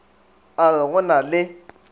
a re go na le